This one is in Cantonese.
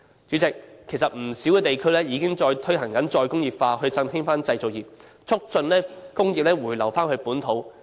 主席，其實不少地區已經推行再工業化，以振興製造業，促進工業回流本土。